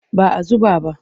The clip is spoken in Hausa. Ba a zuba ba.